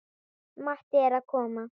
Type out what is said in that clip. Matti er að koma!